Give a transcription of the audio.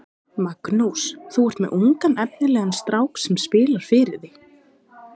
Magnús: Þú er með ungan efnilegan strák sem spilar fyrir þig?